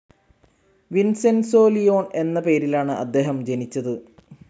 Vincenzo Leone എന്ന പേരിലാണ് അദ്ദേഹം ജനിച്ചത്.